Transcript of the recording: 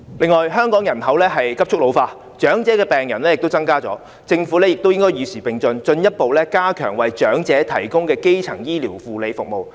此外，香港人口急速老化，長者病人亦有所增加，政府應該與時並進，進一步加強為長者提供的基層醫療護理服務。